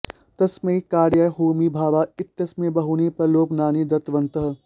एतस्मै कार्याय होमी भाभा इत्यस्मै बहूनि प्रलोभनानि दत्तवन्तः